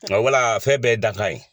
wala fɛn bɛɛ ye dakan ye.